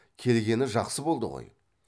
келгені жақсы болды ғой